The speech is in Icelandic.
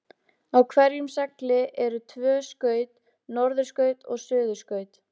Á hverjum segli eru tvö skaut, norðurskaut og suðurskaut.